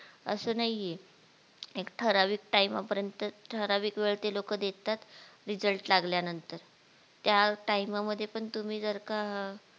असं नाहीये एक ठरावीक time पर्यंत ठरावीक वेळ ते लोकं देतात रीजल्ट लागल्या नंतर त्या time मध्ये पण तुम्ही जर का